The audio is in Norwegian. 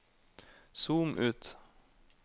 zoom ut